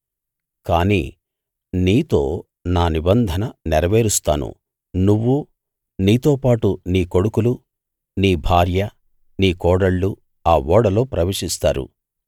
కానీ నీతో నా నిబంధన నెరవేరుస్తాను నువ్వు నీతోపాటు నీ కొడుకులు నీ భార్య నీ కోడళ్ళు ఆ ఓడలో ప్రవేశిస్తారు